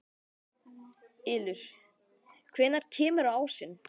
Ylur, hvenær kemur ásinn?